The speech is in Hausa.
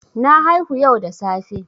Na haihu yau da safe.